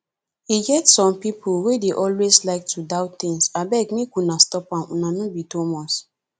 e get some people wey dey always like to doubt things abeg make una stop am una no be thomas